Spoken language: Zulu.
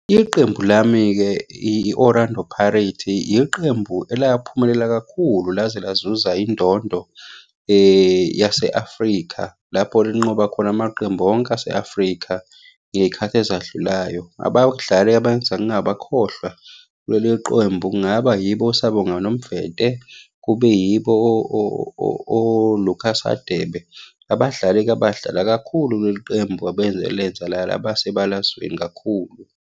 Iqembu lami-ke i-Orlando Pirates, iqembu elaphumelela kakhulu laze lazuza indondo yase-Afrika lapho linqoba khona amaqembu onke ase-Afrika, ngey'khathi ezadlulayo. Abadlali abenza ngingabakhohlwa kuleli qembu, kungaba yibo oSiyabonga Nomvete, kube yibo o-Lucas Hadebe. Abadlali-ke abadlala kakhulu kuleli qembu abelenza laba sebalazweni kakhulu.